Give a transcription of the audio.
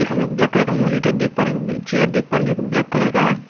एक हम लोग ब्लैक कलर का मॉनिटर देख पा रहे हैं चेयर देख पा रहे हैं जो की ब्लैक कलर का है।